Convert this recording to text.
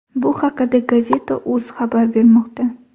Bu haqida Gazeta.uz xabar bermoqda.